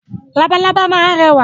Labalábá máa ń rẹwà.